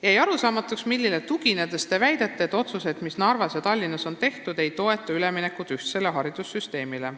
Jäi arusaamatuks, millele tuginedes te väidate, et otsused, mis Narvas ja Tallinnas on tehtud, ei toeta üleminekut ühtsele haridussüsteemile.